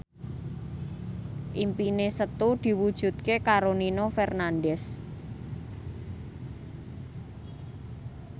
impine Setu diwujudke karo Nino Fernandez